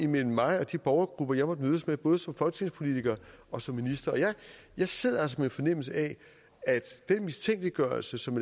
mellem mig og de borgergrupper jeg måtte mødes med både som folketingspolitiker og som minister jeg sidder altså med fornemmelsen af at den mistænkeliggørelse som